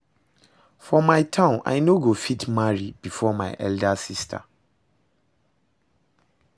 For my town I no go fit marry before my elder sister